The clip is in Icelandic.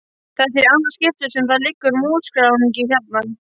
Þetta er í annað skipti sem það liggur músarungi hérna.